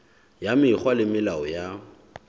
ya mekgwa le melao ya